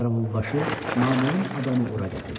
Qaravulbaşı naməlum adamı ora gətirdi.